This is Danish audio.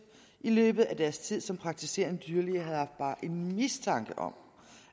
i løbet af deres tid som praktiserende dyrlæger havde haft bare en mistanke om